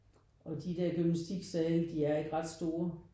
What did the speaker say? Og de der gymnastiksale de er ikke ret store